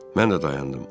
Mən də dayandım.